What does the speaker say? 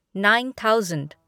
nine thousand